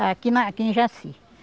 É, aqui na aqui em Jaci.